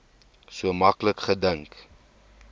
so maklik gedink